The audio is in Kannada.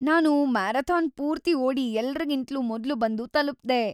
ನಾನು ಮ್ಯಾರಥಾನ್ ಪೂರ್ತಿ ಓಡಿ ಎಲ್ರಿಗಿಂತ್ಲೂ ಮೊದ್ಲು ಬಂದು ತಲುಪ್ದೆ.